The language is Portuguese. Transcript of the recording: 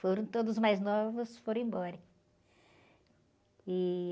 Foram todos os mais novos, foram embora. E...